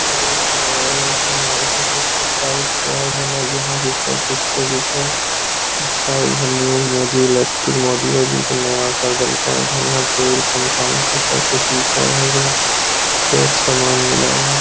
अरे इ तो लग रहले कोनो मार्किट -उरकेट टाइप से है बनल जहाँ की सब कुछो एक साइड मोदी इलेक्ट्रिक मोदी-औदी यहाँ टेबल पंखा-ऊंखा सब कुछ बिकह है कई सामान मिलह है ।